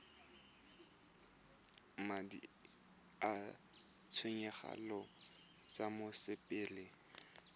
madi a ditshenyegelo tsa mosepele